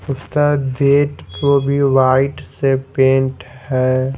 उसका gate white से paint है।